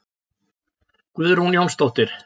Guðrún Jónsdóttir.